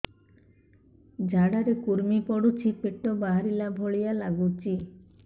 ଝାଡା ରେ କୁର୍ମି ପଡୁଛି ପେଟ ବାହାରିଲା ଭଳିଆ ଲାଗୁଚି